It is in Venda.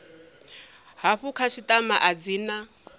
hafhu khasitama a dzi na